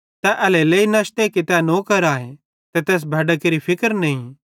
तै एल्हेरेलेइ नशते कि तै नौकर आए ते तैस भैड्डां केरि फिक्र नईं